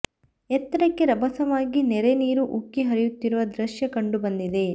ಎತ್ತರಕ್ಕೆ ರಭಸವಾಗಿ ನೆರೆ ನೀರು ಉಕ್ಕಿ ಹರಿಯುತ್ತಿರುವ ದೃಶ್ಯ ಕಂಡು ಬಂದಿದೆ